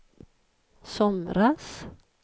somras